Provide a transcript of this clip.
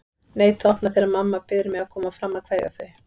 Neita að opna þegar mamma biður mig að koma fram að kveðja þau.